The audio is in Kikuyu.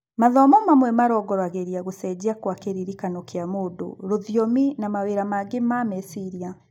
Mathomo mamwe marongoragĩria gũcenjia gwa kĩririkano kĩa mũndũ, rũthiomi na mawĩra mangĩ ma meciria